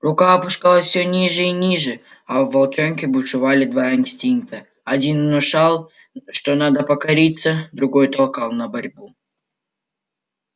рука опускалась всё ниже и ниже а в волчонке бушевали два инстинкта один внушал что надо покориться другой толкал на борьбу